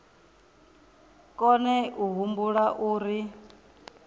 a kone a humbula uri